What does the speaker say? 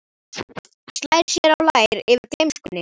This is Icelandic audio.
Slær sér á lær yfir gleymskunni.